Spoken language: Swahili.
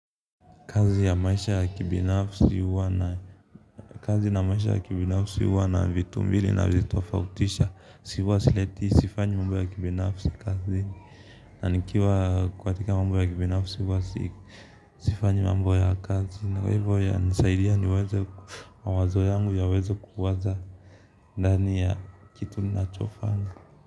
Kazi na maisha ya kibinafsi huwa na, kazi na maisha ya kibinafsi huwa na vitu mbili navitofautisha, huwa sifanyi mambo ya kibinafsi kazini na nikiwa katika mambo ya kibinafsi huwa sifanyi mambo ya kazini. Kwa hivyo yananisaidia niweke mawazo yangu yaweze kuwaza ndani ya kitu ninachofanya.